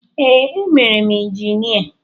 Ee, emere m injinia.